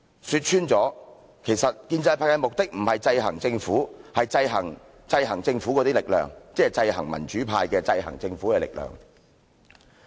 說穿了，其實建制派目的並非制衡政府，而是制衡制衡政府的力量，即是制衡民主派的制衡政府力量。